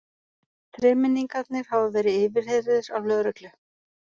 Þremenningarnir hafa verið yfirheyrðir af lögreglu